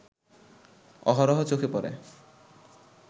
অহরহ চোখে পড়ে